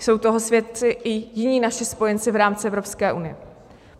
Jsou toho svědci i jiní naši spojenci v rámci Evropské unie.